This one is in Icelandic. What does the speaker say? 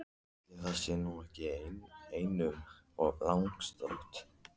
Ætli það sé nú ekki einum of langsótt!